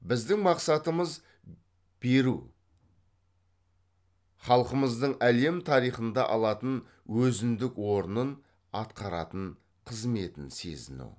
біздің мақсатымыз беру халқымыздың әлем тарихында алатын өзіндік орнын атқаратын қызметін сезіну